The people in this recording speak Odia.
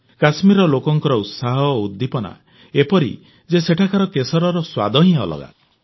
କଶ୍ମୀରର ଲୋକଙ୍କ ଉତ୍ସାହ ଓ ଉଦ୍ଦୀପନା ଏପରି ଯେ ସେଠାକାର କେଶରର ସ୍ୱାଦ ହିଁ ଅଲଗା